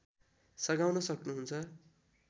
सघाउन सक्नु हुन्छ